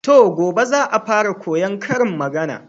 To, gobe za'a fara koyan karin magana.